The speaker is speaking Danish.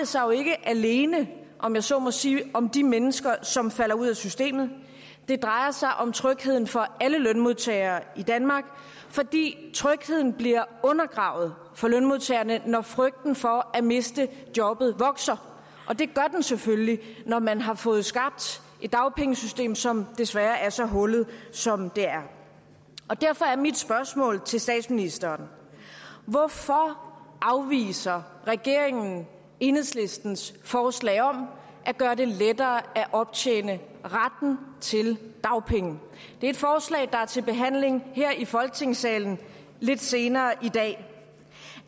sig jo ikke alene om jeg så må sige om de mennesker som falder ud af systemet det drejer sig om trygheden for alle lønmodtagere i danmark fordi trygheden bliver undergravet for lønmodtagerne når frygten for at miste jobbet vokser det gør den selvfølgelig når man har fået skabt et dagpengesystem som desværre er så hullet som det er derfor er mit spørgsmål til statsministeren hvorfor afviser regeringen enhedslistens forslag om at gøre det lettere at optjene retten til dagpenge det er et forslag der er til behandling her i folketingssalen lidt senere i dag